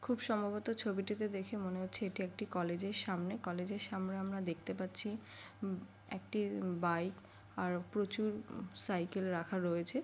খুব সম্ভবত ছবিটিতে দেখে মনে হচ্ছে এটি একটি কলেজ -এর সামনে কলেজের সামনে আমরা দেখতে পাচ্ছি উম একটি এ ই বাইক আর প্রচুর উ সাইকেল রাখা রয়েছে।